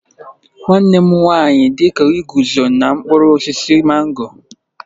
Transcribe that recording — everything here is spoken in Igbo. Nwanne m nwanyi dika iguzo n'okpuru osisi mango.